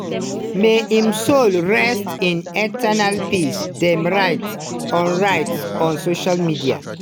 may im soul rest in eternal peace" dem write on write on social media.